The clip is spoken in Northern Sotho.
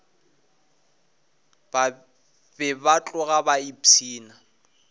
be ba tloga ba ipshina